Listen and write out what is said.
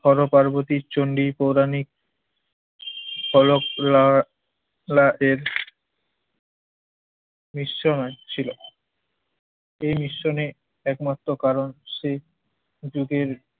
পর পার্বতীর চণ্ডীর পৌরাণিক ফলক লা লায়ের নিঃস্ব হয়েছিল এই মিশনে একমাত্র কারণ সে যুগের